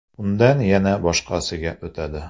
Undan yana boshqasiga o‘tadi.